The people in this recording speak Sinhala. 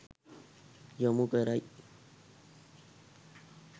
යොමු කරයි.